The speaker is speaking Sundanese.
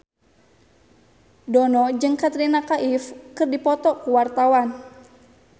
Dono jeung Katrina Kaif keur dipoto ku wartawan